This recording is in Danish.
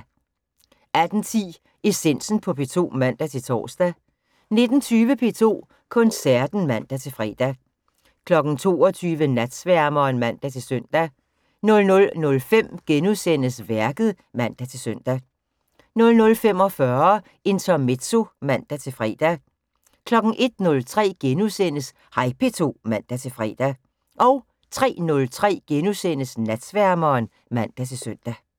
18:10: Essensen på P2 (man-tor) 19:20: P2 Koncerten (man-fre) 22:00: Natsværmeren (man-søn) 00:05: Værket *(man-søn) 00:45: Intermezzo (man-fre) 01:03: Hej P2 *(man-fre) 03:03: Natsværmeren *(man-søn)